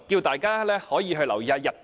大家也可以留意日本。